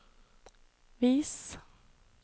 vis